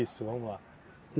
vamos lá.